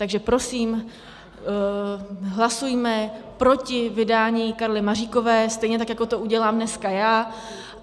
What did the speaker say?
Takže prosím, hlasujme proti vydání Karly Maříkové, stejně tak jako to udělám dneska já.